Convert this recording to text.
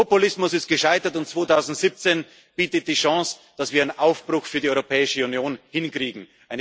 haben. Der Populismus ist gescheitert, und 2017 bietet die Chance, dass wir einen Aufbruch für die Europäische Union hinkriegen.